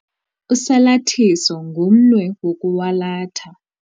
Usalathiso ngumnwe wokwalatha.